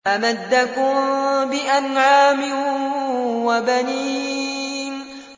أَمَدَّكُم بِأَنْعَامٍ وَبَنِينَ